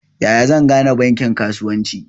Yaya zan gane bankin kasuwanci?